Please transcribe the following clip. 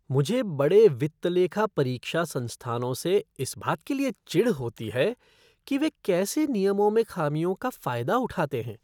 मुझे बड़े वित्त लेखा परीक्षा संस्थानों से इस बात के लिए चिढ़ होती है कि वे कैसे नियमों में खामियों का फ़ायदा उठाते हैं।